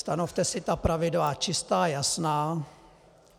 Stanovte si ta pravidla čistá, jasná.